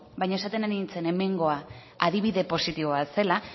baina esaten ari nintzen hemengoa adibide positibo bat zela